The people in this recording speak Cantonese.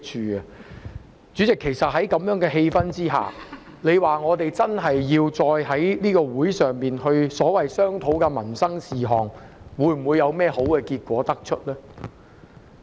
代理主席，其實在這種氣氛之下，要我們在會議席上商討所謂民生事項，能否得出甚麼好結果？